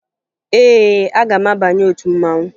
Ee, aga m abanye otu mmanwụ